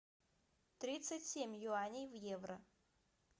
тридцать семь юаней в евро